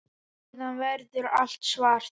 Síðan verður allt svart.